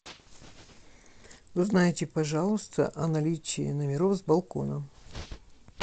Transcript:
узнайте пожалуйста о наличии номеров с балконом